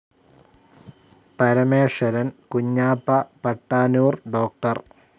Parameswaran, Kunhappa Pattanur, doctor.